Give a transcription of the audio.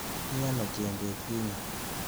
Mi ano chembet kinye?